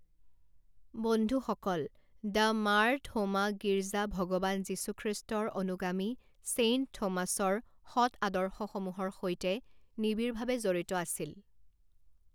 বন্ধুসকল, দ্য মাৰ থোমা গিৰ্জা ভগৱান যীশুখ্ৰীষ্ট্ৰৰ অনুগামী ছেইণ্ট থোমাছৰ সৎ আদৰ্শসমূহৰ সৈতে নিবিড়ভাৱে জড়িত আছিল।